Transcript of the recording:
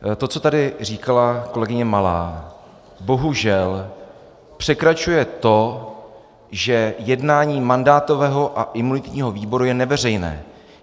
To, co tady říkala kolegyně Malá, bohužel překračuje to, že jednání mandátového a imunitního výboru je neveřejné.